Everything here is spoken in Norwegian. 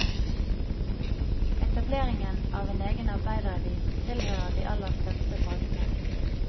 Etableringen av en egen arbeideravis tilhører de aller største bragdene.